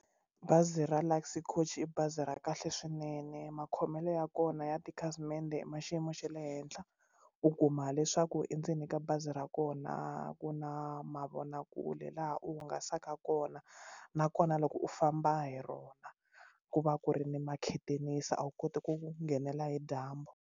Bazi ra Luxy Coach i bazi ra kahle swinene makhomelo ya kona ya tikhasimende ma xiyimo xa le henhla u kuma leswaku endzeni ka bazi ra kona ku na mavonakule laha u hungasaka kona nakona loko u famba hi rona ku va ku ri ni makhethenisi a wu koti ku nghenela hi dyambu.